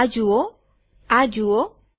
તમે આ જુઓઆ જુઓ